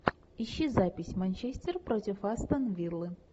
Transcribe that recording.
ищи запись манчестер против астон виллы